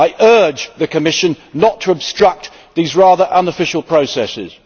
I urge the Commission not to obstruct these rather unofficial processes.